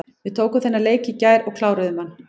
Við tókum þennan leik í gær og kláruðum hann.